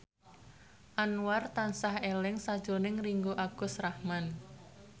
Anwar tansah eling sakjroning Ringgo Agus Rahman